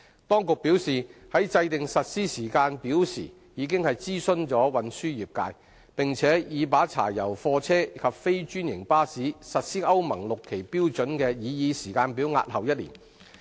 當局表示，在制訂實施時間表時，已諮詢運輸業界，並已把柴油貨車及非專營巴士實施歐盟 VI 期標準的擬議時間表押後1年。